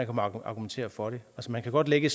kan argumentere for det man kan godt lægge